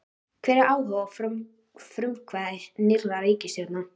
Hvar er áhugi og frumkvæði nýrrar ríkisstjórnar?